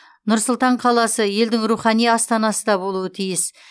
нұр сұлтан қаласы елдің рухани астанасы да болуы тиіс